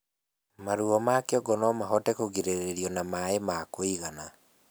Maruo ma kĩongo nomahote kũgirĩrĩrio na maĩ ma kũigana